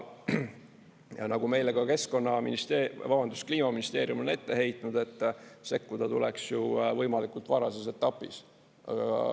Ja nagu meile ka keskkonnaministeerium, vabandust, Kliimaministeerium on ette heitnud, et sekkuda tuleks ju võimalikult varases etapis.